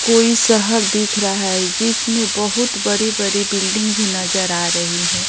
कोई सहर दिख रहा है जिसमें बहुत बड़ी-बड़ी बिल्डिंग भी नजर आ रही है।